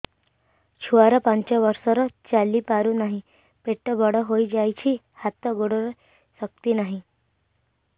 ଛୁଆଟା ପାଞ୍ଚ ବର୍ଷର ଚାଲି ପାରୁ ନାହି ପେଟ ବଡ଼ ହୋଇ ଯାଇଛି ହାତ ଗୋଡ଼ରେ ଶକ୍ତି ନାହିଁ